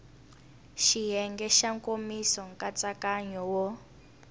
xiyenge xa nkomiso nkatsakanyo wo